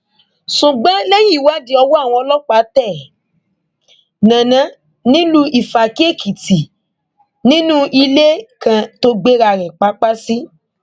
ṣùgbọn lẹyìn ìwádìí ọwọ àwọn ọlọpàá tẹ nana nílùú ifákíèkìtì nínú ilé kan tó gbé ara rẹ papá sí